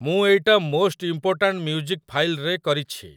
ମୁଁ ଏଇଟା most important music ଫାଇଲ୍‌ରେ କରିଛି